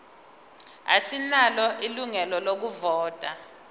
asinalo ilungelo lokuvota